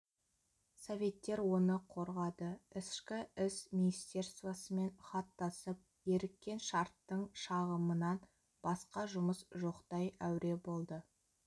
советтер оны қорғады ішкі іс министерствосымен хат тасып еріккен шарттың шағымынан басқа жұмыс жоқтай әуре болды